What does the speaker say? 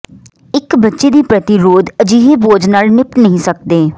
ਇੱਕ ਬੱਚੇ ਦੀ ਪ੍ਰਤਿਰੋਧ ਅਜਿਹੇ ਬੋਝ ਨਾਲ ਨਿਪਟ ਨਹੀਂ ਸਕਦੇ